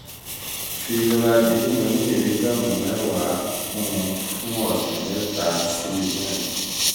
fi loratidine oní mìlígíráàmù mẹ́wàá ten mg od kún un fún ọ̀sẹ̀ mẹ́ta sí mẹ́rin